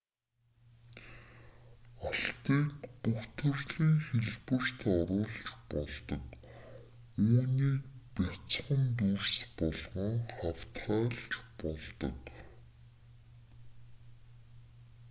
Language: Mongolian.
алтыг бүх төрлийн хэлбэрт оруулж болдог үүнийг бяцхан дүрс болгон хавтгайлж болдог